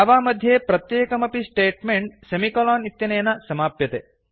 Java मध्ये प्रत्येकमपि statement semicolon इत्यनेन समाप्यते